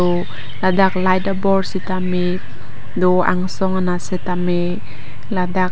ladak light abol sitame do angsong anat sitame ladak --